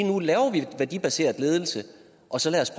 nu laver vi værdibaseret ledelse og så lad os